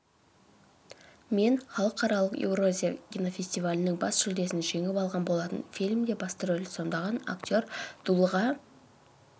мен халықаралық еуразия кинофестивалінің бас жүлдесін жеңіп алған болатын фильмде басты рөлді сомдаған актер дулыға